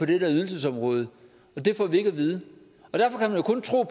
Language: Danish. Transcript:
det ydelsesområde og det får vi ikke at vide